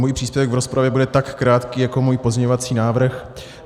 Můj příspěvek v rozpravě bude tak krátký jako můj pozměňovací návrh.